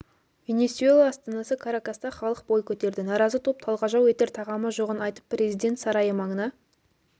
венесуэла астанасы каракаста халық бой көтерді наразы топ талғажау етер тағамы жоғын айтып президент сарайы маңына